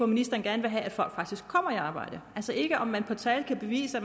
ministeren gerne vil have at folk faktisk kommer i arbejde ikke at man med tal kan bevise at